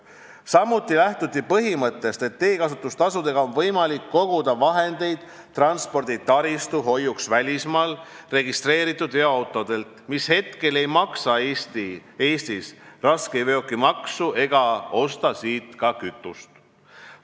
Samuti lähtuti põhimõttest, et teekasutustasudega on võimalik koguda vahendeid transporditaristu hoiuks välismaal registreeritud veoautodelt, mille eest ei maksta Eestis raskeveokimaksu ja mille tarbeks ei osteta siit ka kütust.